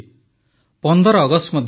୧୫ August ମଧ୍ୟ ଆସୁଛି